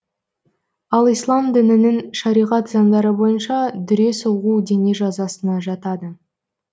ал ислам дінінің шариғат заңдары бойынша дүре соғу дене жазасына жатады